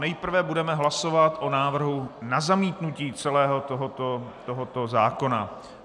Nejprve budeme hlasovat o návrhu na zamítnutí celého tohoto zákona.